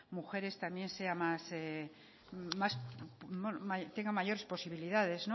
mujeres tenga mayores posibilidades